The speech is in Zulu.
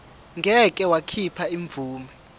ngeke wakhipha imvume